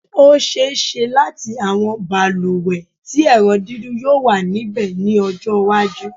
Ó ṣe-é-ṣe láti àwọn balùwẹ̀ tí ẹ̀rọ dídún yóò wà níbẹ̀ ní ọjọ́-iwájú.